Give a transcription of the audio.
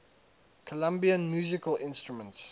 colombian musical instruments